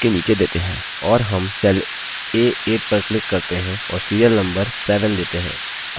और हम cell a8 पर click करते हैं और serial number 7 देते हैं